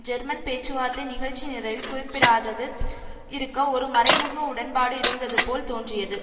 German பேச்சுவார்த்தை நிகழ்ச்சிநிரலில் குறிப்பிடாதது இருக்க ஒரு மறைமுக உடன்பாடு இருந்ததுபோல் தோன்றியது